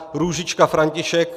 Růžička František